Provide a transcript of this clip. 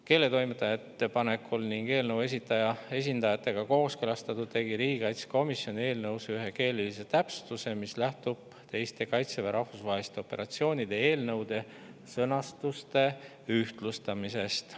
Keeletoimetaja ettepanekul ning eelnõu esitaja esindajatega kooskõlastatult tegi riigikaitsekomisjon eelnõus ühe keelelise täpsustuse, mis lähtub teiste Kaitseväe rahvusvaheliste operatsioonide eelnõude sõnastusega ühtlustamisest.